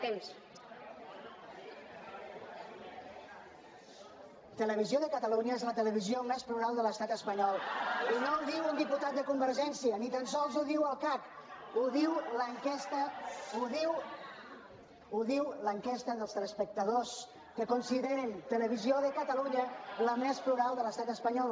televisió de catalunya és la televisió més plural de l’estat espanyol diputat de convergència ni tan sols ho diu el cac ho diu l’enquesta dels teleespectadors que consideren televisió de catalunya la més plural de l’estat espanyol